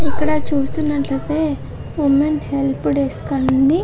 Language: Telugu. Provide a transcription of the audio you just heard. ఇక్కడ చూస్తున్నట్లయితే ఉమెన్ హెల్ప్ డెస్క్ అని ఉంది.